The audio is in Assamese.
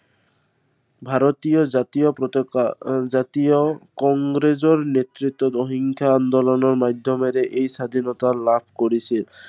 ভাৰতীয় জাতীয় পতাকা, আহ জাতীয় কংগ্ৰেছৰ নেতৃত্বত অহিংসা আন্দোলনৰ মাধ্য়মেৰে এই স্বাধীনতা লাভ কৰিছিল।